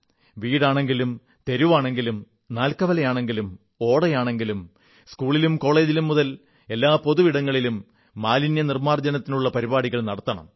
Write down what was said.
വീടാണെങ്കിലും തെരുവാണെങ്കിലും നാൽക്കവലയാണെങ്കിലും ഓടയാണെങ്കിലും സ്കൂളിലും കോളജിലും മുതൽ എല്ലാ പൊതു ഇടങ്ങളിലും മാലിന്യനിർമ്മാർജ്ജനത്തിനുള്ള പരിപാടികൾ നടത്തണം